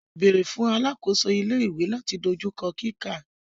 Beere fun alakoso ile-iwe lati dojukọ kika.